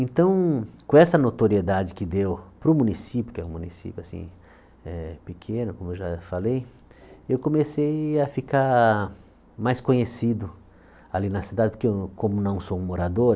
Então, com essa notoriedade que deu para o município, que é um município assim eh pequeno, como eu já falei, eu comecei a ficar mais conhecido ali na cidade, porque eu como não sou um morador,